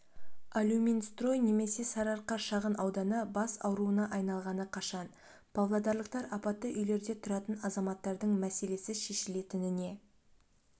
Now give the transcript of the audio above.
алюминстрой немесе сарыарқа шағын ауданы бас ауруына айналғаны қашан павлодарлықтар апатты үйлерде тұратын азаматтардың мәселесі шешілетініне